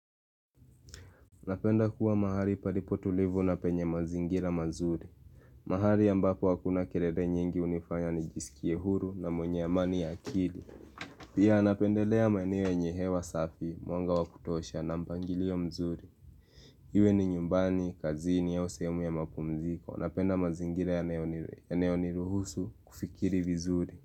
Napenda kuwa mahali palipo tulivu na penye mazingira mazuri. Mahali ambapo hakuna kelele nyingi hunifanya nijisikie huru na mwenye amani ya akili. Pia napendelea maeneo yenye hewa safi, mwanga wa kutosha na mpangilio mzuri. Iwe ni nyumbani, kazini, au sehemu ya mapumziko. Napenda mazingira yanayoniruhusu kufikiri vizuri.